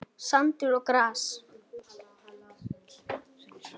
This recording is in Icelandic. Sandur og gras.